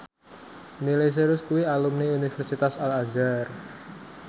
Miley Cyrus kuwi alumni Universitas Al Azhar